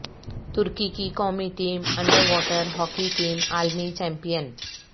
ترکی کی قومی team under water hockey team عالمی چیمپئن